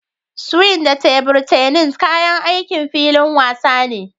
Swing da tebur tennis kayan aikin filin wasa ne